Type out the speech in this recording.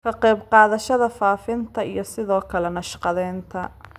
Ka qayb qaadashada faafinta iyo sidoo kale naqshadeynta